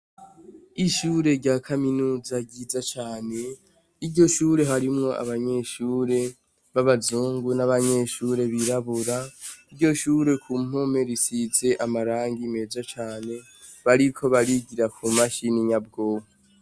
Ishure rya kaminuza ryiza cane, iryo shure harimwo abanyeshure babazungu n’abanyeshure birabura, iryoshure kumpome risize amarangi meza cane bariko barigira ku mashini nyabwonko.